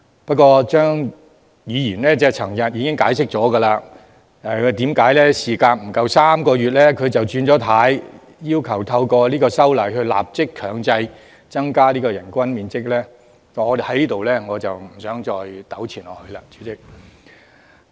不過，張議員昨天已經解釋為何事隔不足3個月便"轉軚"，要求透過修正案立即強制提高最低人均樓面面積，在此我不想再糾纏下去。